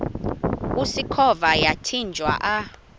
usikhova yathinjw a